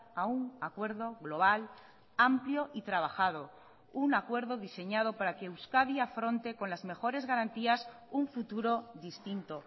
a un acuerdo global amplio y trabajado un acuerdo diseñado para que euskadi afronte con las mejores garantías un futuro distinto